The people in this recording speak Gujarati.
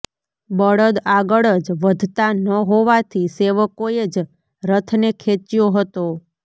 બળદ આગળ જ વધતાં ન હોવાથી સેવકોએ જ રથને ખેંચ્યો હતો